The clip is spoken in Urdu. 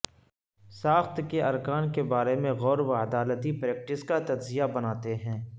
ساخت کے ارکان کے بارے میں غور و عدالتی پریکٹس کا تجزیہ بناتے ہیں